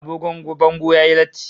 Agogo bango yayi latti